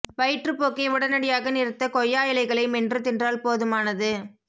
வயிற்றுப் போக்கை உடனடியாக நிறுத்த கொய்யா இலைகளை மென்று தின்றால் போதுமானது